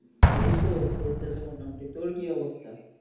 এইতো চলতেছে মোটামুটি তোর কি অবস্থা?